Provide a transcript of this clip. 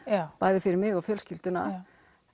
bæði fyrir mig og fjölskylduna